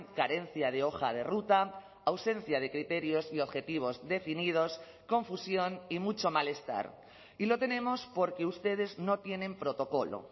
carencia de hoja de ruta ausencia de criterios y objetivos definidos confusión y mucho malestar y lo tenemos porque ustedes no tienen protocolo